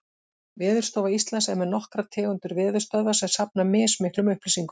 Veðurstofa Íslands er með nokkrar tegundir veðurstöðva sem safna mismiklum upplýsingum.